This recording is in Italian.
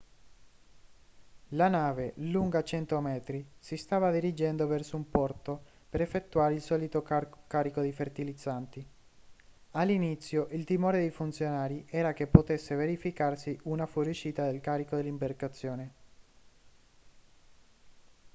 la nave lunga 100 metri si stava dirigendo verso un porto per effettuare il solito carico di fertilizzanti all'inizio il timore dei funzionari era che potesse verificarsi una fuoriuscita del carico dall'imbarcazione